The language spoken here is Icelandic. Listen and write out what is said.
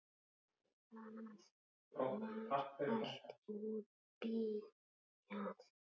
Það var allt útbíað.